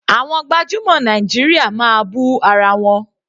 Àwọn gbajúmọ̀ Nàìjíríà máa bú ara wọn.